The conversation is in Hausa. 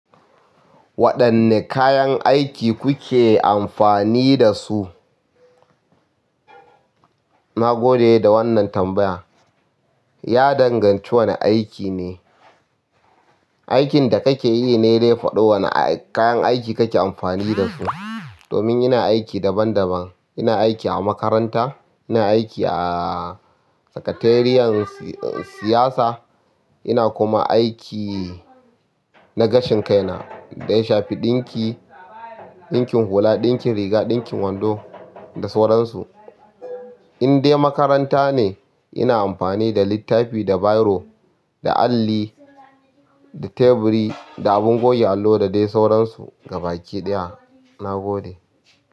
Waɗanne kayan aiki kuke amfani da su? Na gode da wannan tambaya. Ya danganci wane aiki ne. Aikin da kake yi ne dai faɗo wane kayan aiki kake amfani da su. Domin ina aiki daban daban. Ina aiki a makaranta, ina aiki a sakateriyar siyasa, ina kuma aiki na gashin kaina. Da ya shafi ɗinki, ɗinkin hula, ɗinkin riga, ɗinkin wando da sauran su. Indai makaranta ne ina amfani da littafi da biro, da alli, da teburi da abun goge allo da dai sauransu ga baki ɗaya, na gode.